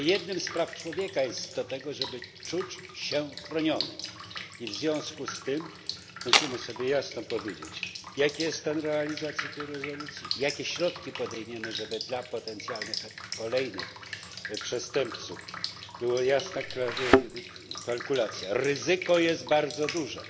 Tylko jednym z praw człowieka jest prawo do tego, żeby czuć się chronionym i w związku z tym musimy sobie jasno powiedzieć, jaki jest stan realizacji tej rezolucji, jakie środki podejmiemy, żeby dla potencjalnych kolejnych przestępców jasna była kalkulacja ryzyko jest bardzo duże.